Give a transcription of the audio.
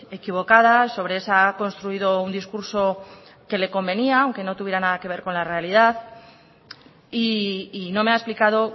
equivocada sobre esa ha construido un discurso que le convenía aunque no tuviera nada que ver con la realidad y no me ha explicado